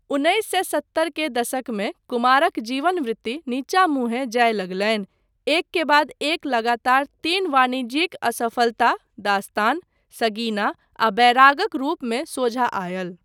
उन्नैस सए सत्तर के दशकमे कुमारक जीवन वृत्ति नीचा मुँहे जाय लगलनि, एक के बाद एक लगातार तीन वाणिज्यिक असफलता 'दास्तान', 'सगीना' आ 'बैराग'क रूपमे सोझा आयल।